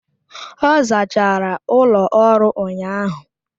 Ọ zachara ụlọ ọrụ ụnyahụ.